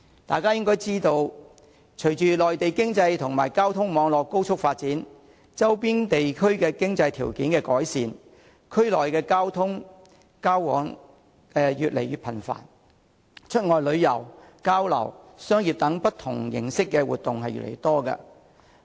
大家應該知道，隨着內地經濟和交通網絡高速發展，以及周邊地區經濟條件的改善，區內交往越來越頻繁，出外旅遊、交流和商業等不同形式的活動亦越來越多。